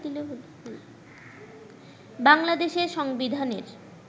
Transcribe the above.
বাংলাদেশের সংবিধানের